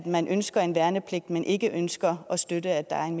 man ønsker en værnepligt men ikke ønsker at støtte at der er en